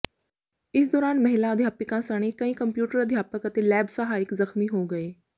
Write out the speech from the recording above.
ਇਸ ਦੌਰਾਨ ਮੁਹਿਲਾ ਅਧਿਆਪਕਾਂ ਸਣੇ ਕਈ ਕੰਪਿਊਟਰ ਅਧਿਆਪਕ ਅਤੇ ਲੈਬ ਸਹਾਇਕ ਜ਼ਖ਼ਮੀ ਹੋ ਗਏ